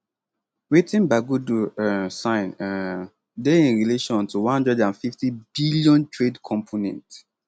wetin bagudu um sign um dey in relation to 150 billion trade component